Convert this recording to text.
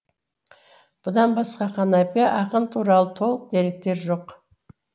бұдан басқа қанапия ақын туралы толық деректер жоқ